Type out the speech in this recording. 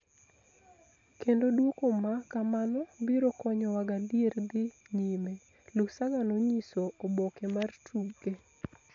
kendo duoko ma kamano biro konyowa gadier dhi nyime, Lusaga nonyiso oboke mar tuke.